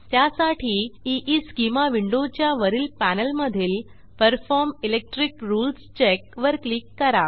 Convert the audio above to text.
त्यासाठी ईस्केमा विंडोच्या वरील पॅनेलमधील परफॉर्म इलेक्ट्रिक रूल्स चेक वर क्लिक करा